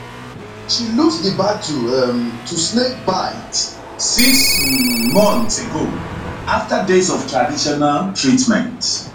she lose di battle um to snakebite six um months ago after days of traditional treatment